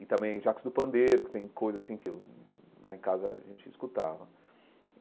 E também Jacos do Pandeiro, que tem coisas assim que eu lá em casa a gente escutava.